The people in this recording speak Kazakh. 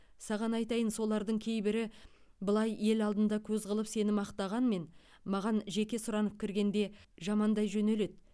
саған айтайын солардың кейбірі былай ел алдында көз қылып сені мақтағанмен маған жеке сұранып кіргенде жамандай жөнеледі